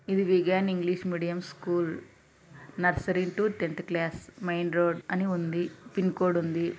ఇది Vignan English medium school nursery to tenth class అని రాసి ఉంది పిన్ కోడ్ ఉంది.